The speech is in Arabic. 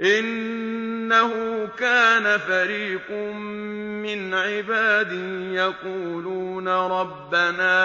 إِنَّهُ كَانَ فَرِيقٌ مِّنْ عِبَادِي يَقُولُونَ رَبَّنَا